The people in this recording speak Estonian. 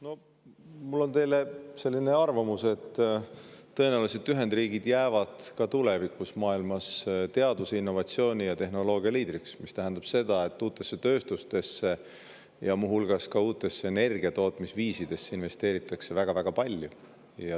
Mul on teile selline arvamus, et tõenäoliselt jäävad Ühendriigid ka tulevikus maailmas teaduse, innovatsiooni ja tehnoloogia liidriks, mis tähendab seda, et uutesse tööstus ja muu hulgas uutesse energiatootmise viisidesse investeeritakse väga-väga palju.